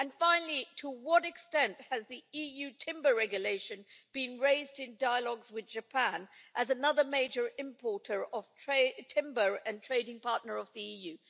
Finally, to what extent has the EU Timber Regulation been raised in dialogue with Japan as another major importer of timber and a trading partner of the EU?